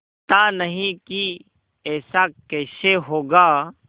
पता नहीं कि ऐसा कैसे होगा